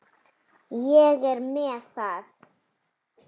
Ég er með það.